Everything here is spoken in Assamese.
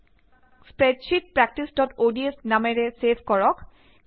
তাক স্প্ৰেডশ্বিট প্ৰেকটিচods নামেৰে ছেভ কৰক